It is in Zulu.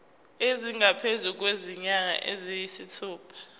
esingaphezu kwezinyanga eziyisithupha